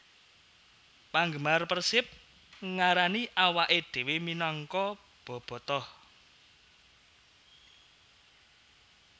Panggemar Persib ngarani awaké dhéwé minangka Bobotoh